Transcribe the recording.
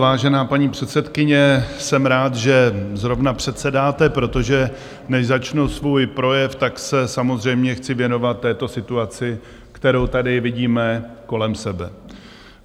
Vážená paní předsedkyně, jsem rád, že zrovna předsedáte, protože než začnu svůj projev, tak se samozřejmě chci věnovat této situaci, kterou tady vidíme kolem sebe.